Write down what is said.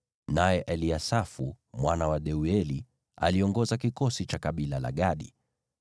naye Eliasafu mwana wa Deueli aliongoza kikosi cha kabila la Gadi.